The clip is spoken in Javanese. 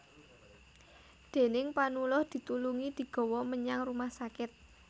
Déning Panuluh ditulungi digawa menyang rumah sakit